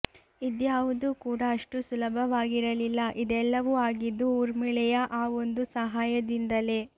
ಇದ್ಯಾವುದೂ ಕೂಡ ಅಷ್ಟು ಸುಲಭವಾಗಿರಲಿಲ್ಲ ಇದೆಲ್ಲವೂ ಆಗಿದ್ದು ಊರ್ಮಿಳೆಯ ಆ ಒಂದು ಸಹಾಯದಿಂದಲೇ